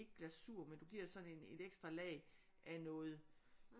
Ikke glasur men du giver sådan en et ekstra lag af noget